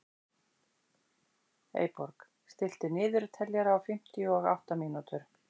Eyborg, stilltu niðurteljara á fimmtíu og átta mínútur.